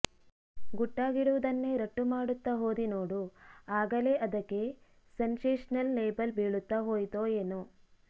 ಗುಟ್ಟಾಗಿಡುವುದನ್ನೇ ರಟ್ಟು ಮಾಡುತ್ತಾ ಹೋದಿ ನೋಡು ಆಗಲೇ ಅದಕ್ಕೆ ಸೆನ್ಸೇಶನಲ್ ಲೇಬಲ್ ಬೀಳುತ್ತಾ ಹೋಯಿತೋ ಏನೋ